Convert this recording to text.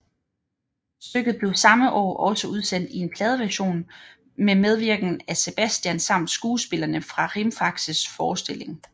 Stykket blev samme år også udsendt i en pladeversion med medvirken af Sebastian samt skuespillerne fra Rimfaxes forestilling